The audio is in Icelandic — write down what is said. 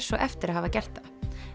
svo eftir að hafa gert það